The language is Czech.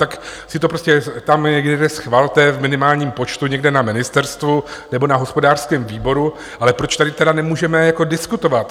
Tak si to prostě tam někde schvalte v minimálním počtu někde na ministerstvu nebo na hospodářském výboru, ale proč tady tedy nemůžeme diskutovat?